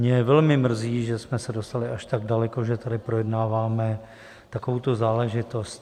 Mě velmi mrzí, že jsme se dostali až tak daleko, že tady projednáváme takovouto záležitost.